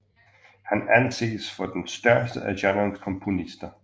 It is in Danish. Han anses for den største af genrens komponister